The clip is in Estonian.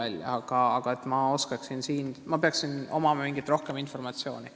Selleks, et ma oskaksin siin täpsemalt vastata, peaks mul aga olema rohkem informatsiooni.